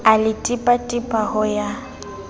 a le tipatipa ho ya